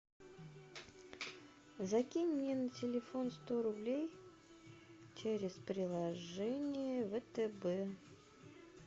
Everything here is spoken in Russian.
закинь мне на телефон сто рублей через приложение втб